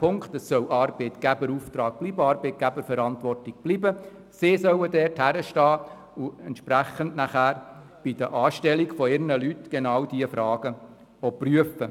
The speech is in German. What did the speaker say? Die Arbeitgeber sollen hinstehen und bei der Anstellung die zukünftigen Mitarbeitenden prüfen.